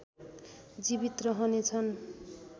जीवित रहनेछन्